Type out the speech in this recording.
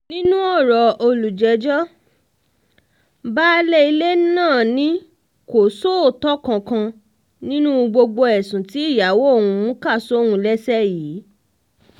nínú ọ̀rọ̀ olùjẹ́jọ́ baálé ilé náà ni kò sóòótọ́ kankan nínú gbogbo ẹ̀sùn tí ìyàwó òun kà sóun lẹ́sẹ̀ yìí